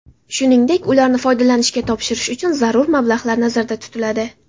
Shuningdek, ularni foydalanishga topshirish uchun zarur mablag‘lar nazarda tutiladi.